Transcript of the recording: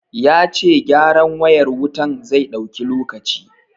Ya ce gyaran wayar wutan zai ɗauki lokaci.